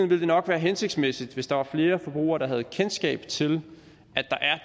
ville det nok være hensigtsmæssigt hvis der var flere forbrugere der havde kendskab til